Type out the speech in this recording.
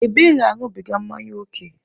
Ebere aṅụbiga mmanya ókè.